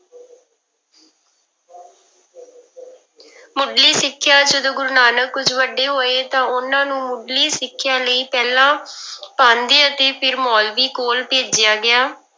ਮੁੱਢਲੀ ਸਿੱਖਿਆ, ਜਦੋਂ ਗੁਰੂ ਨਾਨਕ ਕੁੁੱਝ ਵੱਡੇ ਹੋਏ ਤਾਂ ਉਹਨਾਂ ਨੂੰ ਮੁੱਢਲੀ ਸਿੱਖਿਆ ਲਈ ਪਹਿਲਾਂ ਪਾਂਧੇ ਅਤੇ ਫਿਰ ਮੋਲਵੀ ਕੋਲ ਭੇਜਿਆ ਗਿਆ।